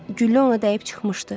Güllə ona dəyib çıxmışdı.